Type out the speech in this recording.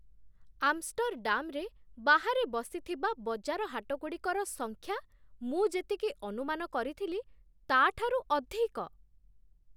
ଆମଷ୍ଟର୍‌ଡାମ୍‌ରେ ବାହାରେ ବସିଥିବା ବଜାର ହାଟଗୁଡ଼ିକର ସଂଖ୍ୟା ମୁଁ ଯେତିକି ଅନୁମାନ କରିଥିଲି, ତା'ଠାରୁ ଅଧିକ।